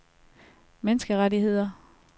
menneskerettigheder